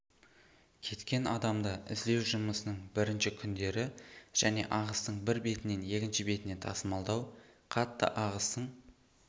кеткен адамды іздеу жұмысының бірінші күндері және ағыстың бір бетінен екінші бетіне тасымалдау қатты ағыстың